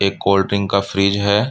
एक कोल्ड्रिंक का फ्रिज हैं।